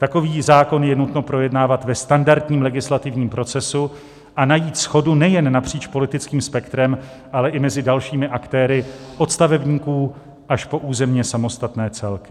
Takový zákon je nutno projednávat ve standardním legislativním procesu a najít shodu nejen napříč politickým spektrem, ale i mezi dalšími aktéry, od stavebníků až po územně samostatné celky.